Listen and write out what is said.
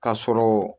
K'a sɔrɔ